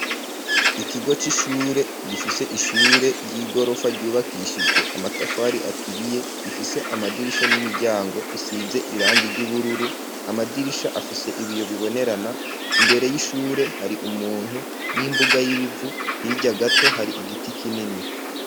Îkigo c'ishure, gifise ishure ry'igorofa ryubakishijwe amatafari aturiye, ifise amadirisha n'imiryango bisize irangi ry'ubururu, amadirisha afise ibiyo bibonerana, imbere y'ishure hari umuntu n'imbuga y'ibivu, hirya gato hari igiti kinini.